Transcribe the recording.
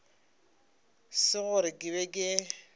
se gore ke be ke